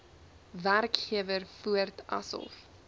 werkgewer voort asof